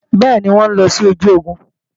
Bẹ́ẹ̀ni, wọn ń lọ sí ojú ogun